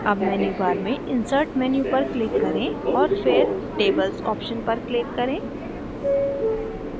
अब मेन्यूबार में insert menu पर click करें और फिर tables option पर click करें